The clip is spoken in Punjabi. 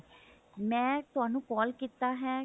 ਮੈਂ ਤੁਹਾਨੂੰ call ਕੀਤਾ ਹੈ